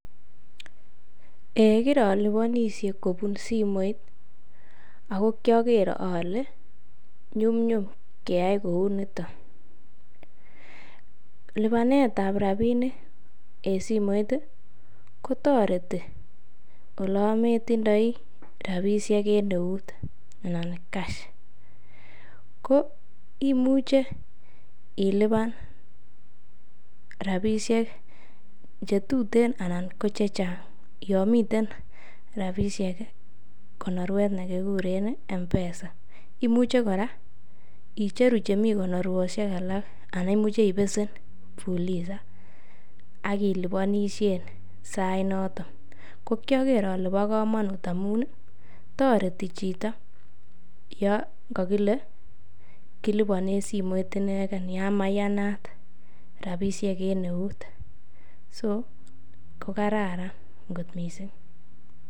eeh kirolibonishe kobun simoit ago kyogeer ole nyumnyum keyai kouu nito, libaneet ab rabinik en simoit iih kotoreti olon metindoii rabishek en euut anan cash, ko imuche ilibaan rabishek chetuten anan ko chechang yomiten rabishek konorweet negigureen Mpesa, imuche koraa icheru chemii konorwoshek alak anan imuche ibesen Fuliza ak ilibonishen sait noton, ko kyogeer ole bo komuun amuun iih toreti chito yon kogile kilibonen simoit inegen yaan mayanaat rabishek en eeut, sokogararan kot mising.